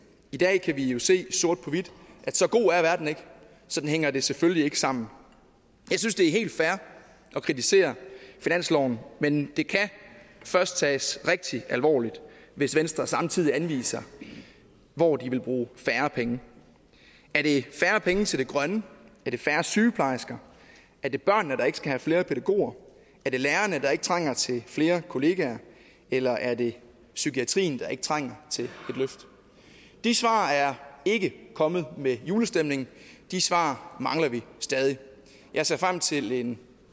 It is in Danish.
i dag kan vi jo se sort på hvidt at så god er verden ikke sådan hænger det selvfølgelig ikke sammen jeg synes det er helt fair at kritisere finansloven men det kan først tages rigtig alvorligt hvis venstre samtidig anviser hvor de vil bruge færre penge er det færre penge til det grønne er det færre sygeplejersker er det børnene der ikke skal have flere pædagoger er det lærerne der ikke trænger til flere kollegaer eller er det psykiatrien der ikke trænger til et løft de svar er ikke kommet med julestemningen de svar mangler vi stadig jeg ser frem til en